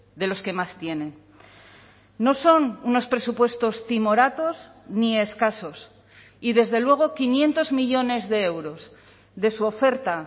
de los que más tienen no son unos presupuestos timoratos ni escasos y desde luego quinientos millónes de euros de su oferta